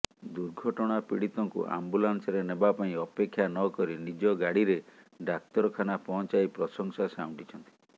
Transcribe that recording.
ଦୁର୍ଘଟଣା ପୀଡିତଙ୍କୁ ଆମ୍ବୁଲାନ୍ସରେ ନେବା ପାଇଁ ଅପେକ୍ଷା ନକରି ନିଜ ଗାଡିରେ ଡାକ୍ତରଖାନା ପହଞ୍ଚାଇ ପ୍ରଶଂସା ସଉଣ୍ଟିଛନ୍ତି